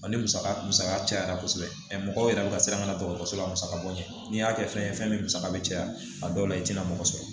Ni musaka musaka cayara kosɛbɛ mɔgɔ wɛrɛ bɛ ka siran ka na dɔgɔtɔrɔso la musaka bɔ n'i y'a kɛ fɛn ye fɛn min musaka bɛ caya a dɔw la i tɛna mɔgɔ sɔrɔ